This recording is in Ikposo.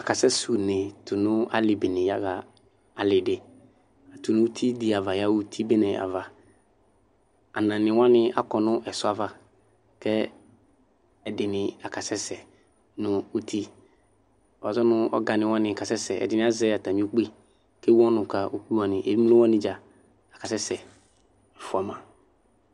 Akasɛsɛ une tʋnʋ alibene yaxa alidi tʋnʋ uti di ava yaxa uti bene ava anani wani akɔ nʋ ɛsɔ ava kʋ ɛdini akasɛsɛ nʋ uti wazɔnʋ ɔgani wani ta asɛsɛ ɛdini azɛ atami ukpi kʋ ewʋ ɔnʋ ka ukpi evdze wani dza akasɛsɛ fʋama